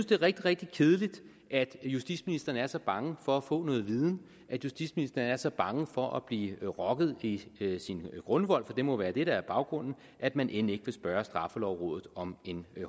det er rigtig rigtig kedeligt at justitsministeren er så bange for at få noget viden at justitsministeren er så bange for at blive rokket i sin grundvold for det må være det der er baggrunden at man end ikke vil spørge straffelovrådet om en